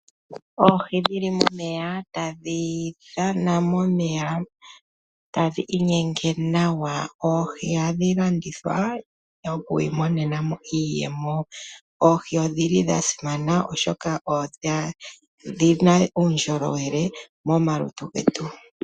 Oohi dhili moneya tadhi dhana noku inyenga nawa. Oohi ohadhi landithwa nokumona iiyemo. Odha simana oshoka odhina uundjolowele momalutu getu.